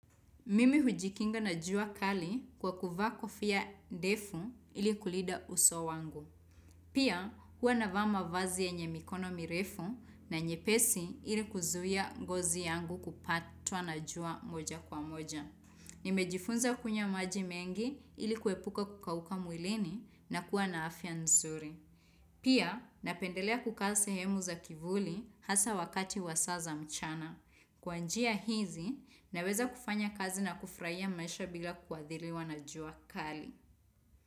Mimi hujikinga na jua kali kwa kuvaa kofia ndefu ili kulinda uso wangu. Pia huwa navaa mavazi yenye mikono mirefu na nyepesi ili kuzuia ngozi yangu kupatwa na jua moja kwa moja. Nimejifunza kunywa maji mengi ili kuepuka kukauka mwilini na kuwa na afya nzuri. Pia napendelea kukaa sehemu za kivuli hasaa wakati wa saa za mchana. Kwa njia hizi, naweza kufanya kazi na kufurahia maisha bila kuathiriwa na jua kali.